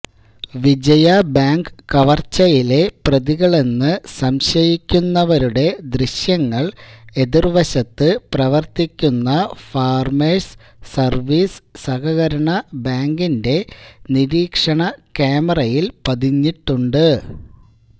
Vijaya bank കവർച്ചയിലെ പ്രതികളെന്നു സംശയിക്കുന്നവരുടെ ദ്യശ്യങ്ങൾ എതിർവശത്ത് പ്രവർത്തിക്കുന്ന ഫാർമേഴ്സ് സർവ്വീസ് സഹകരണ ബാങ്കിന്റെ നിരീക്ഷണ ക്യാമറയിൽ പതിഞ്ഞിട്ടുണ്ട്